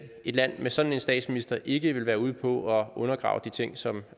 et land med sådan en statsminister ikke ville være ude på at undergrave de ting som